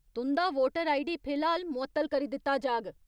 तुं'दा voter ID फिलहाल मुअत्तल करी दित्ता जाह्ग।